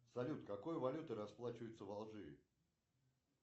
салют какой валютой расплачиваются в алжире